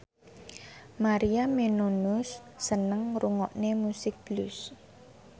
Maria Menounos seneng ngrungokne musik blues